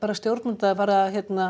stjórnvöld bara